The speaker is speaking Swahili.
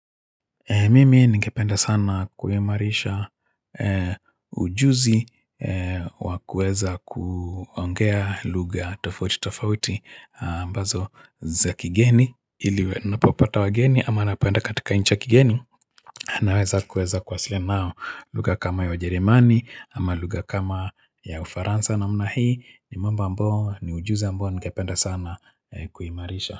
Mimi ningependa sana kuimarisha, e ujuzi e wakuweza ku ongea lugha tofauti tofauti, a ambazo za kigeni, ili we napopata wageni ama napopenda katika nchi ya kigeni naweza kueza kuwasiliana nao. Lugha kama ya wajeremani, ama lugha kama ya ufaransa namna hii, ni mambo ambao, ni ujuzi ambao ningependa sana, e kuimarisha.